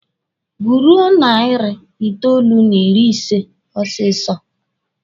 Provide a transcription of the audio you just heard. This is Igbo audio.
Guruo narị itoolu n'ịrị ise osisi!